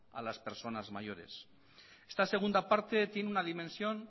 a las personas mayores esta segunda parte tiene una dimensión